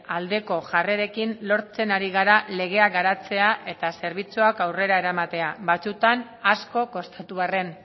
aldeko jarrerekin lortzen ari gara legea garatzea eta zerbitzuak aurrera eramatea batzuetan asko kostatu arren